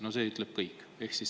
No see ütleb kõik!